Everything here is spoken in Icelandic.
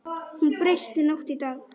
Hún breytti nótt í dag.